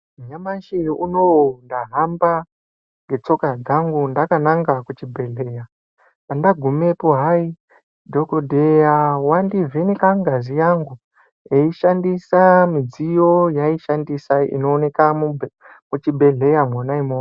Nyamashi unou ndahamba ngetsoka dzangu ndakananga kuchibhehlera andagumapo hai dhokodheya wandivheneka ngazi yangu eishandisa midziyo yaaishandisa inooneka muchibhehlera mona omwomwo.